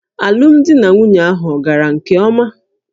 Alụmdi na nwunye ahụ ọ̀ gara nke ọma?